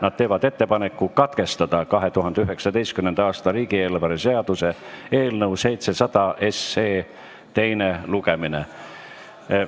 Nad teevad ettepaneku katkestada 2019. aasta riigieelarve seaduse eelnõu 700 teine lugemine.